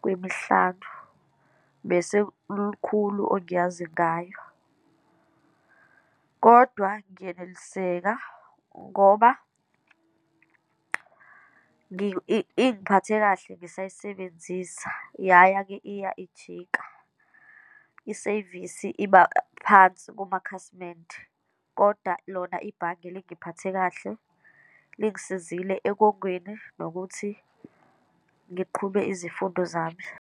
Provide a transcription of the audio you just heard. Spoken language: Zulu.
kwemihlanu, bese lukhulu ongayazi ngayo. Kodwa ngiyeneliseka ngoba ngi ingiphathe kahle ngisayisebenzisa, yaya-ke iya ijika. Isevisi iba phansi kumakhasimende, kodwa lona ibhange lingiphathe kahle, lingisizile ekongeni, nokuthi ngiqhube izifundo zami.